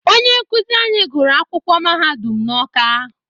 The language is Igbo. Onye nkụzi anyị gụrụ akwụkwọ mahadum n'Ọ́ká.